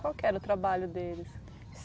Qual era o trabalho deles?